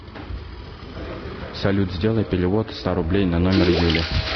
салют сделай перевод ста рублей на номер юли